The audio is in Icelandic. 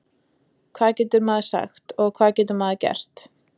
Hvað getur maður sagt og hvað getur maður gert?